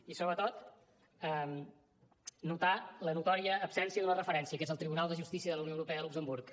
i sobretot notar la notòria absència d’una referència que és el tribunal de justícia de la unió europea de luxemburg